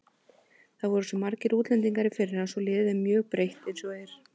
Það voru svo margir útlendingar í fyrra svo liðið er mjög breytt eins og er.